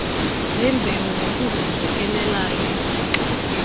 zembewu ngokuzenzekelayo izixa